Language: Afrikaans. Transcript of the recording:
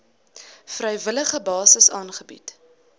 vrywillige basis aangebied